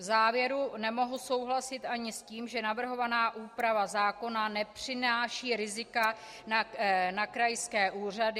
V závěru nemohu souhlasit ani s tím, že navrhovaná úprava zákona nepřináší rizika na krajské úřady.